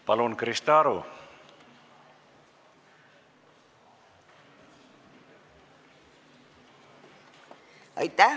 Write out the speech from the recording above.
Palun, Krista Aru!